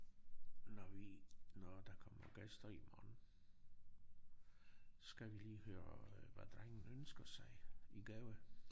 Når vi når der kommer gæster i morgen skal vi lige høre hvad drengen ønsker sig i gave